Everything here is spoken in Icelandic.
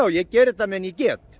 ég geri þetta meðan ég get